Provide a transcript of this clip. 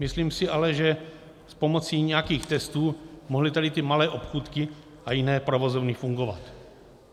Myslím si ale, že s pomocí nějakých testů mohly tady ty malé obchůdky a jiné provozovny fungovat.